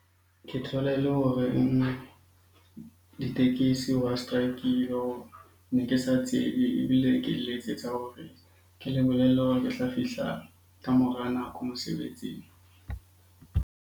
Ke thola e le hore e nngwe, ditekesi ba strike-ile . Ne ke sa tsebe ebile ke le letsetsa hore ke le bolelle hore ke tla fihla ka mora nako mosebetsing.